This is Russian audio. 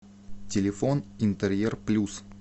телефон интерьер плюс